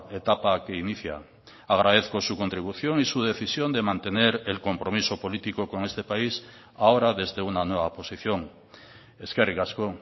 etapa que inicia agradezco su contribución y su decisión de mantener el compromiso político con este país ahora desde una nueva posición eskerrik asko